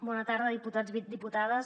bona tarda diputats i diputades